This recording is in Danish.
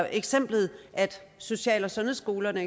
eksempel at social og sundhedsskolerne